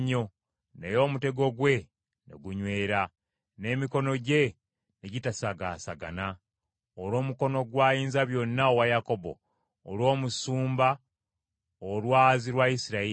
naye omutego gwe ne gunywera, n’emikono gye ne gitasagaasagana. Olw’omukono gwa Ayinzabyonna owa Yakobo, olw’Omusumba, Olwazi lwa Isirayiri,